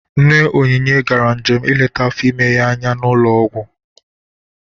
Nne Onynye gara njem ileta afọ ime ya anya n'ụlọ ọgwụ.